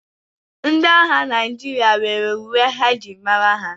Ndị agha Naịjirịa nwere uwe e ji mara ha.